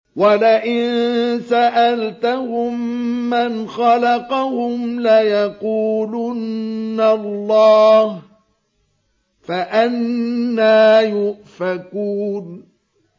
وَلَئِن سَأَلْتَهُم مَّنْ خَلَقَهُمْ لَيَقُولُنَّ اللَّهُ ۖ فَأَنَّىٰ يُؤْفَكُونَ